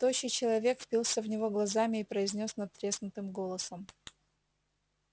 тощий человек впился в него глазами и произнёс надтреснутым голосом